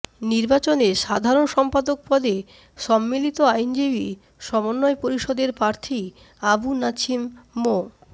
নির্বাচনে সাধারণ সম্পাদক পদে সম্মিলিত আইনজীবী সমন্বয় পরিষদের প্রার্থী আবু নাছিম মো